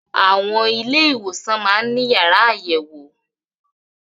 Àwọn ilé ìwòsàn máá ń ní yàrá àyẹ̀wò